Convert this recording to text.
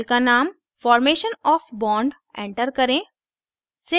file का name formation of bond formation of bond enter करें